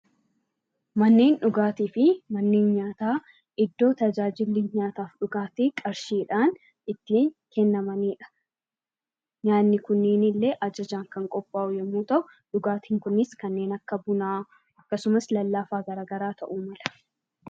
Manneen nyaataa fi dhugaatii manneen nyaatni fi dhugaatiin qarshiidhaan ittiin kennamanidha. Nyaatni kunillee ajajaan kan qophaawu yommuu ta'u, dhugaatiin Kunis kan akka bu'aa akkasumas lallaafaa garaagaraa ta'uu mala.